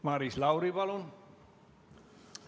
Maris Lauri, palun!